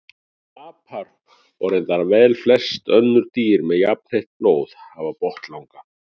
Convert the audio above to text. Apar og reyndar velflest önnur dýr með jafnheitt blóð hafa botnlanga.